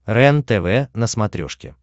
рентв на смотрешке